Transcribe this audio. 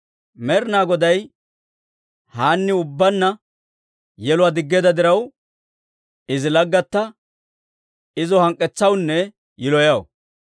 Med'inaa Goday Haanniw ubbaanna yeluwaa diggeedda diraw, izi laggatta izo hank'k'etsawunne yiloyaw.